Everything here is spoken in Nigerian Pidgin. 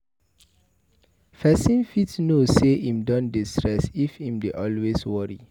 Person fit know sey im don dey stress if im dey always worry